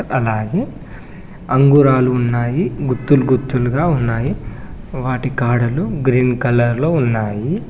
అలాగే అంగురాలు ఉన్నాయి గుత్తులు గుత్తులుగా ఉన్నాయి వాటి కాడలు గ్రీన్ కలర్ లో ఉన్నాయి.